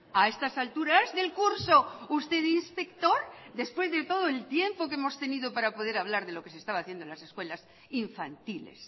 a estas alturas del curso usted de inspector después de todo el tiempo que hemos tenido para poder hablar de lo que se estaba haciendo en las escuelas infantiles